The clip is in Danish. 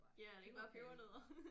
Ja er det ikke bare pebernødder